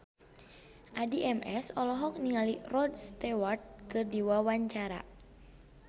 Addie MS olohok ningali Rod Stewart keur diwawancara